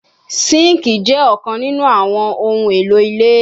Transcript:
Sinkii jẹ ọkan ninu awọn ohun elo ile